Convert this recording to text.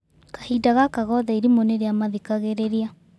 Kahinda gaka gothe irimũ nĩrĩamathikagĩrĩria.